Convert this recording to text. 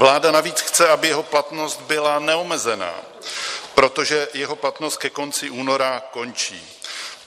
Vláda navíc chce, aby jeho platnost byla neomezená, protože jeho platnost ke konci února končí.